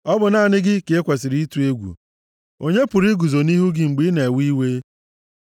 Ọ bụ naanị gị ka e kwesiri ịtụ egwu. Onye pụrụ iguzo nʼihu gị mgbe i na-ewe iwe?